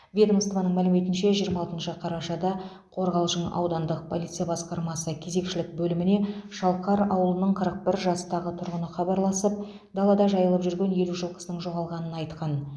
ведомствоның мәліметінше жиырма алтыншы қарашада қорғалжын аудандық полиция басқармасы кезекшілік бөліміне шалқар ауылының қырық бір жастағы тұрғыны хабарласып далада жайылып жүрген елу жылқысының жоғалғанын айтқан